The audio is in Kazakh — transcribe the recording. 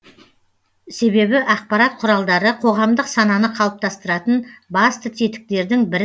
себебі ақпарат құралдары қоғамдық сананы қалыптастыратын басты тетіктердің бірі